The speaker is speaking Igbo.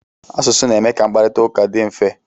Asụsụ na-eme ka mkparita ụka dị mfe.